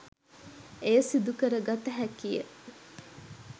එය සිදු කරගත හැකිය.